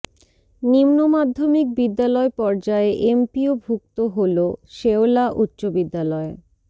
নিম্ন মাধ্যমিক বিদ্যালয় পর্যায়ে এমপিওভুক্ত হলো শেওলা উচ্চ বিদ্যালয়